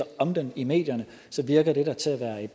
om den i medierne virker den da til at være